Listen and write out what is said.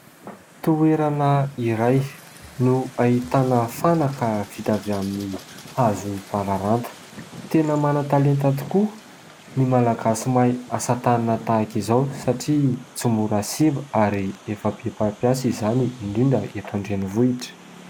Toerana iray no ahitana fanaka vita avy amin'ny hazo bararata. Tena manan-talenta tokoa ny malagasy mahay asa tanana tahaka izao satria tsy mora simba ary efa be mpampiasa izany indrindra eto an-drenivohitra.